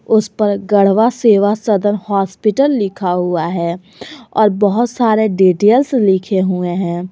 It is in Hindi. उस पर गढ़वा सेवा सदन हॉस्पिटल लिखा हुआ है और बहुत सारे डिटेल्स लिखे हुए हैं।